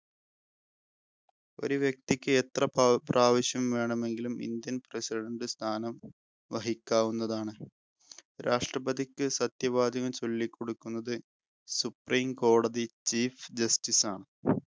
ഒരു വ്യക്തിക് എത്ര പ്രാ പ്രാവശ്യം വേണമെങ്കിലും ഇന്ത്യ president സ്ഥാനം വഹിക്കാവുന്നതാണ്. രാഷ്ട്രപതിക്ക് സത്യവാചകം ചൊല്ലിക്കൊടുക്കുന്നത് supreme കോടതി chief justice ആണ്.